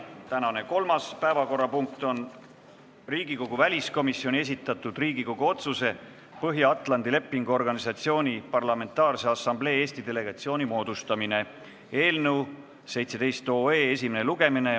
Tänane kolmas päevakorrapunkt on Riigikogu väliskomisjoni esitatud Riigikogu otsuse "Põhja-Atlandi Lepingu Organisatsiooni Parlamentaarse Assamblee Eesti delegatsiooni moodustamine" eelnõu esimene lugemine.